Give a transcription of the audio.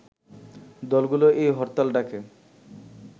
দলগুলো এই হরতাল ডাকে